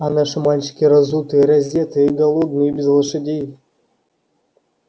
а наши мальчики разутые раздетые голодные без лошадей